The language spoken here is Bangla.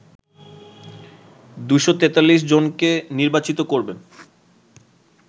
২৪৩ জনকে নির্বাচিত করবেন